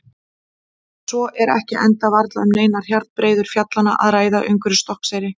Svo er ekki enda varla um neinar hjarnbreiður fjallanna að ræða umhverfis Stokkseyri.